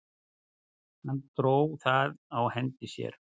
Hún dró það á hendi sér.